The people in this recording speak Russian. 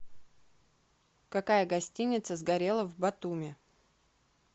какая гостиница сгорела в батуми